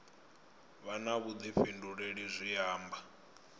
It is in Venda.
vha na vhuḓifhinduleli zwi amba